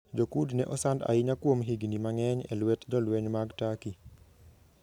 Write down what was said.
Jo-Kurd ne osand ahinya kuom higini mang'eny e lwet jolweny mag Turkey.